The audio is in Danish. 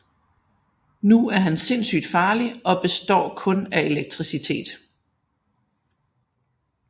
Nu er han sindssygt farlig og består kun af elektricitet